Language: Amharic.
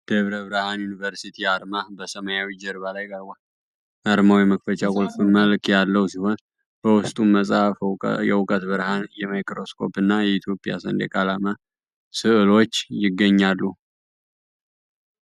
ደብረ ብርሃን ዩኒቨርሲቲ (DBU) አርማ በሰማያዊ ጀርባ ላይ ቀርቧል። አርማው የመክፈቻ ቁልፍ መልክ ያለው ሲሆን፣ በውስጡም መጽሐፍ፣ የእውቀት ብርሃን፣ ማይክሮስኮፕ፣ እና የኢትዮጵያ ሰንደቅ ዓላማ ስዕሎች ይገኛሉ።